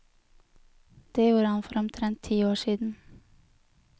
Det gjorde han for omtrent ti år siden.